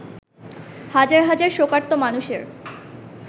হাজার হাজার শোকার্ত মানুষের